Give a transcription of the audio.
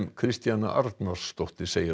Kristjana Arnarsdóttir segir